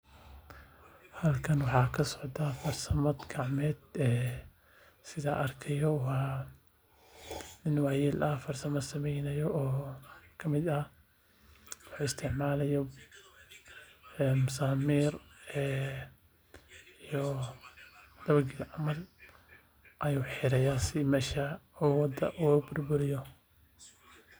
waxa kasocda farsama gacmeed sida arkayo nin wayel farsamo samenayo wuxu isticmalaya masamir wuxiraya sii mesha wado uburburiyo